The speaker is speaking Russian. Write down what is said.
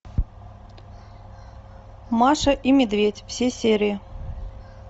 маша и медведь все серии